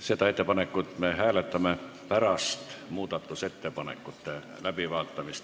Seda ettepanekut me hääletame pärast muudatusettepanekute läbivaatamist.